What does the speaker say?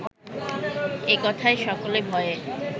এ কথায় সকলে ভয়ে